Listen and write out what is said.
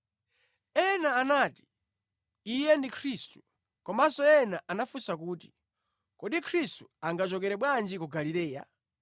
Ena anati, “Iye ndiye Khristu.” Komanso ena anafunsa kuti, “Kodi Khristu angachokere bwanji ku Galileya?